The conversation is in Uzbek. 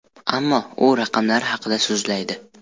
Ammo u raqamlar haqida so‘zlaydi.